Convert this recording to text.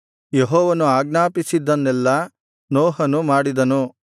ಯೆಹೋವನು ಆಜ್ಞಾಪಿಸಿದ್ದನ್ನೆಲ್ಲಾ ನೋಹನು ಮಾಡಿದನು